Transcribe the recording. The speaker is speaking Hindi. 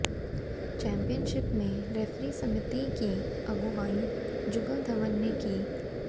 चैंपियनशिप में रैफरी समिति की अगुवाई जुगल धवन ने की